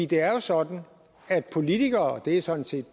det er jo sådan at politikere og det er sådan set